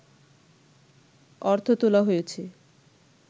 অর্থ তোলা হয়েছে